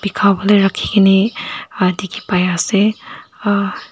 dikhawole rakhi keney ah dikhi pai ase ah.